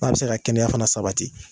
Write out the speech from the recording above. N'a bɛ se ka kɛnɛya fana sabati